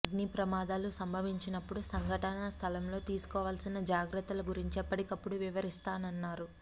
అగ్నిప్రమాదాలు సంభవించినప్పుడు సంఘటన స్థలంలో తీసుకోవాలసిన జాగ్రత్తల గురించి ఎప్పటికప్పుడు వివరిస్తానన్నారు